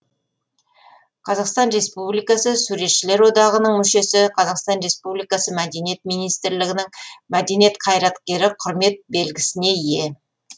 қр суретшілер одағының мүшесі қр мәдениет министрлігінің мәдениет қайраткері құрмет белгісіне ие